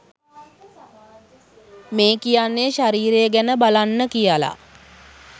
මේ කියන්නේ ශරීරය ගැන බලන්න කියල